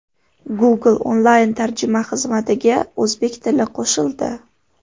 Google onlayn tarjima xizmatiga o‘zbek tili qo‘shildi.